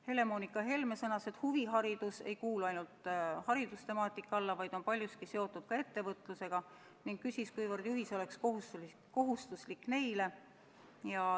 Helle-Moonika Helme sõnas, et huviharidus ei kuulu ainult haridustemaatika alla, vaid on paljuski seotud ka ettevõtlusega, ning küsis, kuivõrd juhis oleks kohustuslik neile.